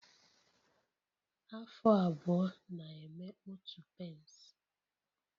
Afụ abụọ na-eme otu pence